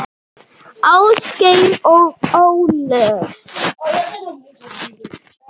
Ásgeir og Ólöf.